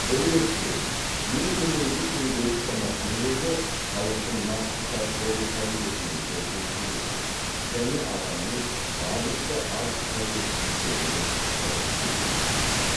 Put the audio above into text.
бұл ретте ең төменгі күнкөріс шамасының өзі халықтың нақты сатып алу қабілетіне сәйкес келуге және адамның барынша аз қажеттіліктеріне жауап беруге тиіс